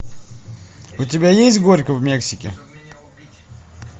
у тебя есть горько в мексике